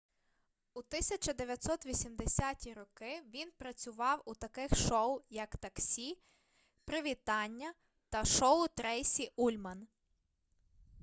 у 1980-ті роки він працював у таких шоу як таксі привітання та шоу трейсі ульман